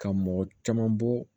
Ka mɔgɔ caman bɔ